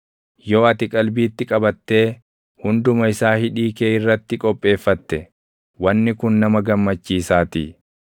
yoo ati qalbiitti qabattee // hunduma isaa hidhii kee irratti qopheeffatte wanni kun nama gammachiisaatii.